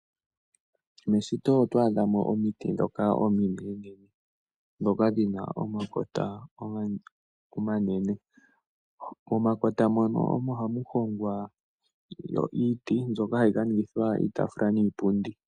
Meshito oto adha mo omiti ndhoka ominenene ndhoka dhi na omakota omanene. Momakota mono omo hamu hongwa iiti mbyoka hayi ka ningithwa iitaafula niipundi.